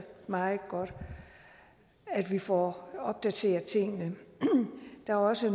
meget godt at vi får opdateret tingene der er også